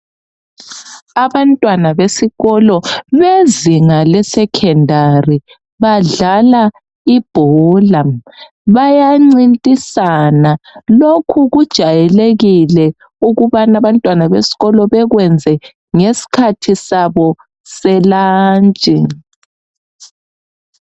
Abantwana besikolo bezinga lesecondary badlala ibhola bayancintisana lokhu kujayelekile ukubana abantwana besikolo bekwenze ngesikhathi sabo selunch.